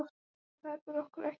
En þar ber okkur ekki saman.